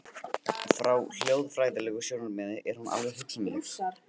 Frá hljóðfræðilegu sjónarmiði er hún vel hugsanleg.